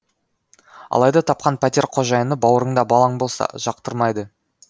алайда тапқан пәтер қожайыны бауырыңда балаң болса жақтырмайды